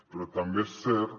però també és cert